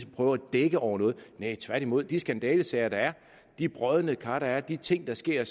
prøve at dække over noget vil jeg tværtimod de skandalesager der er de brodne kar der er de ting der sker